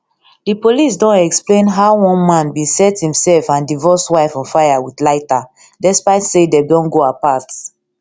di police don explain how one man bin set imsef and divorced wife on fire wit lighter despite say dem don go apart